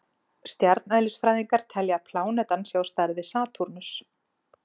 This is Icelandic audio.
Stjarneðlisfræðingar telja að plánetan sé á stærð við Satúrnus.